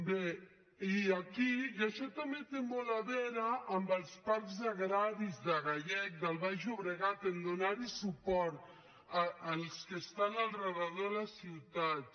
bé i això també té molt a veure amb els parcs agraris de gallecs del baix llobregat a donar·hi suport els que estan al voltant de les ciutats